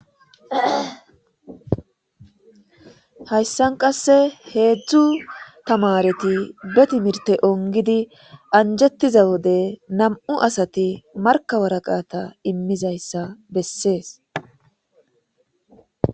hayssan qasse heedzdzu tamareti betimirte ongidi anjettiza wode nam7u asati markawaraqata immizayssa bessees